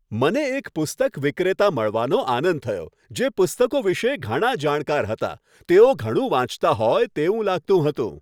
મને એક પુસ્તક વિક્રેતા મળવાનો આનંદ થયો, જે પુસ્તકો વિશે ઘણા જાણકાર હતા. તેઓ ઘણું વાંચતા હોય તેવું લાગતું હતું.